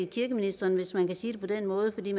kirkeministeriet hvis man kan sige det på den måde